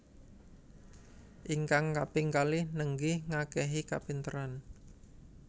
Ingkang kaping kalih nenggih ngakehi kapinteran